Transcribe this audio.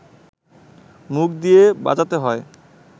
মুখ দিয়ে বাজাতে হয়